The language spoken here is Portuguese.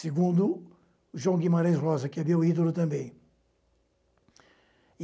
Segundo João Guimarães Rosa, que é meu ídolo também.